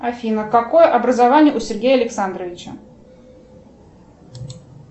афина какое образование у сергея александровича